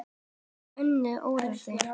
Við höfum önnur úrræði.